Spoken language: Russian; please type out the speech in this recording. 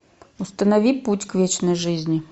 установи путь к вечной жизни